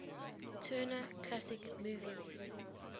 turner classic movies